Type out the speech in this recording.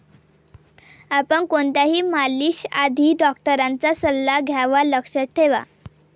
आपण कोणत्याही मालिश आधी डॉक्टरांचा सल्ला घ्यावा लक्षात ठेवा.